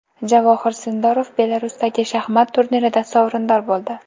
Javohir Sindorov Belarusdagi shaxmat turnirida sovrindor bo‘ldi.